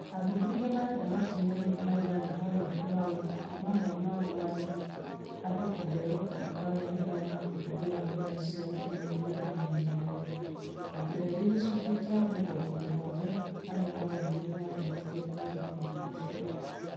Athuthuria marenda makinya maigana ona moywo mamwe mamo marĩ , andũ kuheo mũkana rĩrĩa mahũthira nenda cia ũkinyanĩria ihinda inene(andũ ethĩ gĩcunjĩ kia mĩrongo mũgwanja arĩa moririo nimanyitire mbaru ũndũ ũcio)